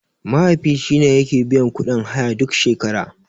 Mahaifi shine yake biyan kuɗin haya duk shekara.